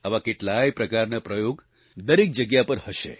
આવા કેટલાય પ્રકારના પ્રયોગ દરેક જગ્યા પર હશે